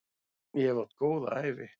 Ég hef átt góða ævi.